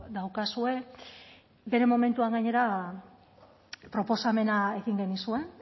daukazue bere momentuan gainera proposamena egin genizuen